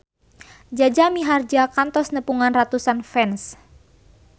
Jaja Mihardja kantos nepungan ratusan fans